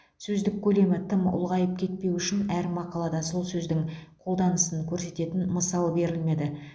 сөздік көлемі тым ұлғайып кетпеуі үшін әр мақалада сол сөздің қолданысын көрсететін мысал берілмеді